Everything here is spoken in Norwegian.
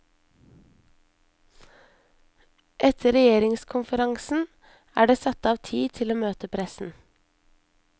Etter regjeringskonferansen er det satt av tid til å møte pressen.